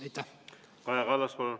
Kaja Kallas, palun!